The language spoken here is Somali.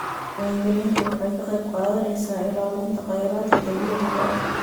Diiwaangelintu waxay ka qayb qaadanaysaa ilaalinta khayraadka dabiiciga ah.